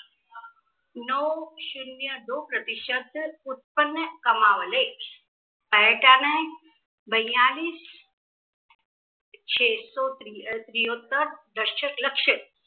नौ शून्य दो प्रतिशत उत्पन्न कमावले. हाय का नाय बय्यालीस छेस्सो त्रिवत्तर दशक लक्ष